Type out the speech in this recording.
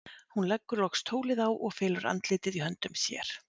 Hún leggur loks tólið á og felur andlitið í höndum sér.